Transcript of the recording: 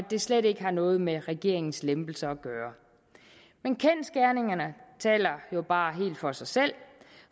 det slet ikke har noget med regeringens lempelser at gøre men kendsgerningerne taler jo bare helt for sig selv